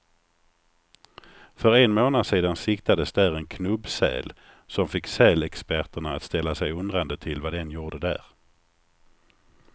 För en månad sedan siktades där en knubbsäl, som fick sälexperterna att ställa sig undrande till vad den gjorde där.